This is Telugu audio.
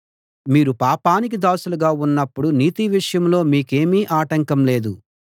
మీరు పాపానికి దాసులుగా ఉన్నప్పుడు నీతి విషయంలో మీకేమీ ఆటంకం లేదు